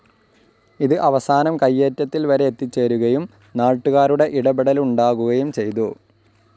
ഇത് അവസാനം കയ്യേറ്റത്തിൽവരെ എത്തിച്ചേരുകയും നാട്ടുകാരുടെ ഇടപെടലുണ്ടാകുകയും ചെയ്തു.